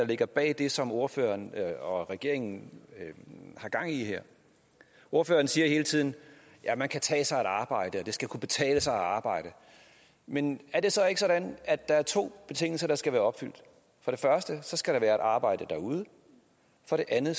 ligger bag det som ordføreren og regeringen har gang i her ordføreren siger hele tiden at man kan tage sig et arbejde og det skal kunne betale sig at arbejde men er det så ikke sådan at der er to betingelser der skal være opfyldt for det første skal der være et arbejde derude og for det andet